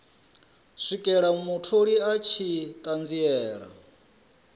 swikela mutholi a tshi ṱanziela